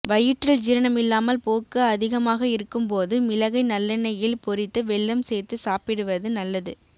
வயிற்றில் ஜீரணமில்லாமல் போக்கு அதிகமாக இருக்கும் போது மிளகை நல்லெண்ணெய்யில் பொரித்து வெல்லம் சேர்த்துச் சாப்பிடுவது நல்லது